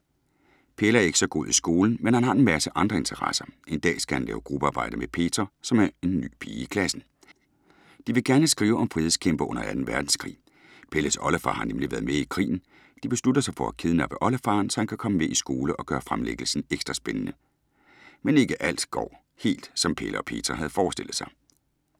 Pelle er ikke så god i skolen, men han har en masse andre interesser. En dag skal han lave gruppearbejde med Petra, som er ny pige i klassen. De vil gerne skrive om frihedskæmpere under 2. verdenskrig. Pelles oldefar har nemlig været med i krigen. De beslutter sig for at kidnappe oldefaren, så han kan komme med i skole og gøre fremlæggelsen ekstra spændende. Men ikke alt går helt, som Pelle og Petra havde forestillet sig.